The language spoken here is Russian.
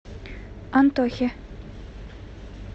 антохе